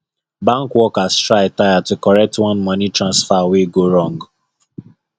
bank workers try tire to correct one money transfer wey go wrong